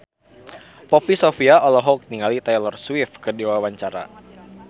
Poppy Sovia olohok ningali Taylor Swift keur diwawancara